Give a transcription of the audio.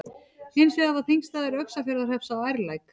Hins vegar var þingstaður Öxarfjarðarhrepps á Ærlæk.